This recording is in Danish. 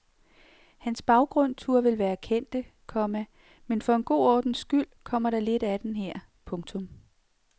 Hans baggrund turde vel være kendte, komma men for en god ordens skyld kommer der lidt af den her. punktum